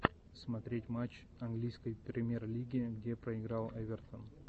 смотреть матч английской премьер лиги где проиграл эвертон